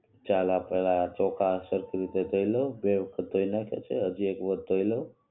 ચાલ આ પહેલા ચોખા સરખી રીતે ધોઇ લવ વ્યવસ્થિત ધોઇ નાખ્યા છે હજી એક વાર ધોઇ લવ